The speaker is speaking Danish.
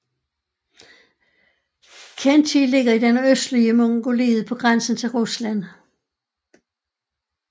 Khentij ligger i det nordøstlige Mongoliet på grænsen til Rusland